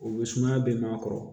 O bɛ sumaya bɛɛ ma a kɔrɔ